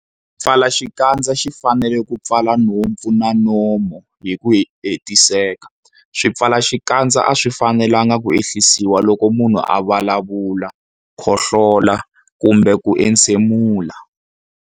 Xipfalaxikandza xi fanele ku pfala nhompfu na nomo hi ku hetiseka. Swipfalaxikandza a swi fanelanga ku ehlisiwa loko munhu a vulavula, khohlola kumbe ku entshemula.